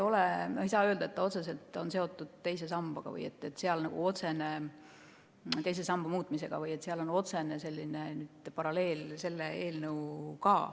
Me ei saa öelda, et see on otseselt seotud teise samba muutmisega või et seal on otsene paralleel selle eelnõuga.